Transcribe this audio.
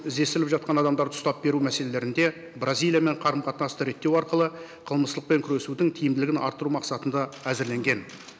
іздестіріліп жатқан адамдарды ұстап беру мәселелерінде бразилиямен қарым қатынасты реттеу арқылы қылмыстықпен күресудің тиімділігін арттыру мақсатында әзірленген